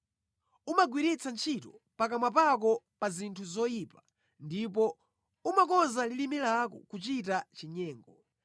Umagwiritsa ntchito pakamwa pako pa zinthu zoyipa ndipo umakonza lilime lako kuchita chinyengo.